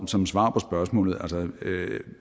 som svar på spørgsmålet vil